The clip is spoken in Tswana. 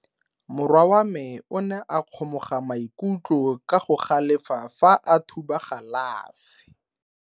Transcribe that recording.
Morwa wa me o ne a kgomoga maikutlo ka go galefa fa a thuba galase.